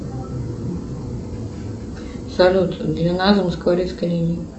салют длина замоскворецкой линии